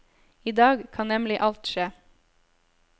I dag kan nemlig alt skje.